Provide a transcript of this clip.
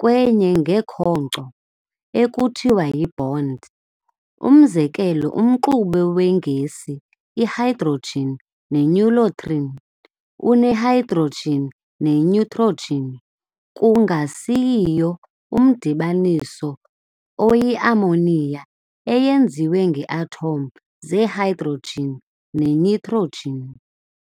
kwenye ngekhonco ekuthiwa yibond. Umzekelo, umxube weegesi ihydrogen nenitrogen une-hydrogen ne-nitrogen, kungasiyio umdibaniso oyiammonia eyenziwe ngee-atom ze-hydrogen ne-nitrogen.